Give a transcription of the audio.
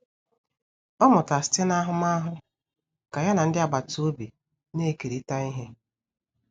Ọ mụtara site n'ahụmahụ ka ya na ndị agbata obi na-ekerịta ihe.